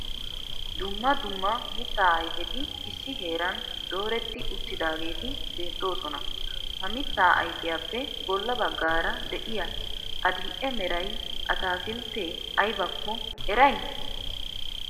Dumma dumma mitta ayfeti issi heeran dooretti uttudaageti beettoosona. Ha mitta ayfiyappe bolla baggaara de'iya adil"e meray ataakiltte aybbakko eray?